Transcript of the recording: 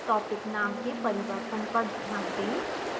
topic name के परिवर्तन पर ध्यान दें